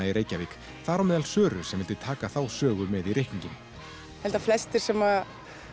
í Reykjavík þar á meðal Söru sem vildi taka þá sögu með í reikninginn ég held að flestir sem